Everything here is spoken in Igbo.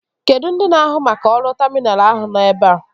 Ndị na-ahụ maka ọrụ taminalụ ahụ nọ ebea